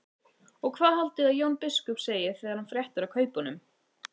Og hvað haldið þið að Jón biskup segi þegar hann fréttir af kaupunum?